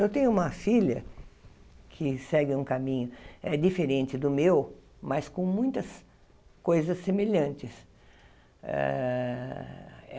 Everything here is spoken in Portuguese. Eu tenho uma filha que segue um caminho eh diferente do meu, mas com muitas coisas semelhantes. ah